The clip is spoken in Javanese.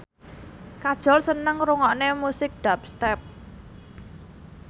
Kajol seneng ngrungokne musik dubstep